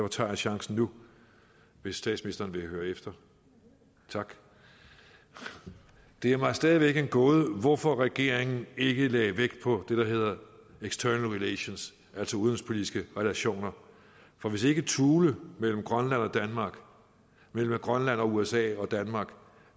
tager jeg chancen nu hvis statsministeren vil høre efter tak det er mig stadig væk en gåde hvorfor regeringen ikke lagde vægt på det der hedder external relations altså udenrigspolitiske relationer for hvis ikke thule mellem grønland og danmark mellem grønland og usa og danmark